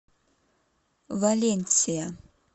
валенсия